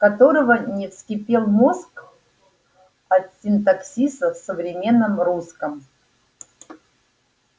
которого не вскипел мозг от синтаксиса в современном русском